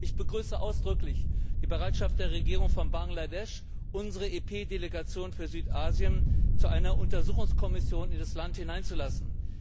Ich begrüße ausdrücklich die Bereitschaft von Bangladesch, unsere EP Delegation für Südasien zu einer Untersuchungskommission in das Land hineinzulassen.